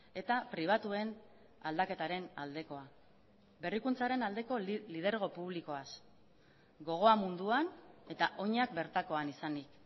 eta pribatuen aldaketaren aldekoa berrikuntzaren aldeko lidergo publikoaz gogoa munduan eta oinak bertakoan izanik